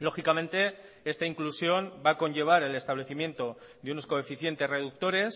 lógicamente esta inclusión va a conllevar el establecimiento de unos coeficientes reductores